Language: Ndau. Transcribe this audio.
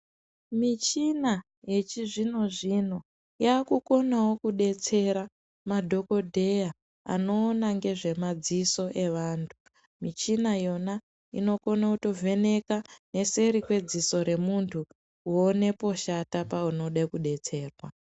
Mishina yechizvino zvino yakukonawo kudetsera madhokodheya anoona ngezve madziso evanhu mishina yona inokono kuvheneka neseti kweziso remunhu kuone poshata panode kudetserwa.